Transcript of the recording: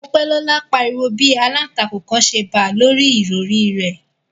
Mopelola pariwo bi àlàntakùn kan ṣe ba lori ìrọri rẹ